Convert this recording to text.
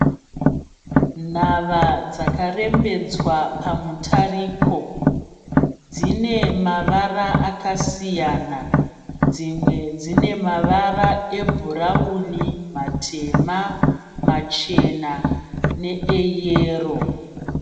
Nhava dzakarembedzwa pamutariko. Dzine mavara akasiyana. Dzimwe dzine mavara ebhurauni, matema, machena neeyero.